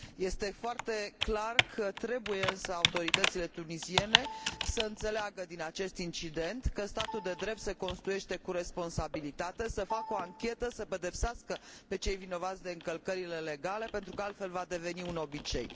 Este foarte clar însă că autoritățile tunisiene trebuie să înțeleagă din acest incident că statul de drept se construiește cu responsabilitate, să facă o anchetă, să pedepsească pe cei vinovați de încălcările legale, pentru că altfel va deveni un obicei.